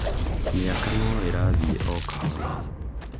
mĩaka no ĩrathiĩ o kahora